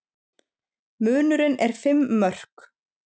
Munurinn er fimm mörk